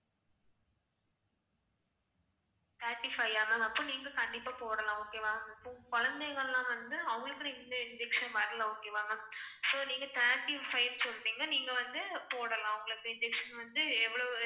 thirty five ஆ ma'am அப்ப நீங்க கண்டிப்பா போடலாம் okay வா குழந்தைங்கலாம் வந்து அவங்களுக்கு இந்த injection வரல okay வா ma'am so நீங்க thirty five சொல்லிட்டீங்க நீங்க வந்து போடலாம் உங்களுக்கு இந்த injection வந்து எவ்வளவு